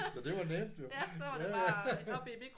Så det var nemt jo. Ja ja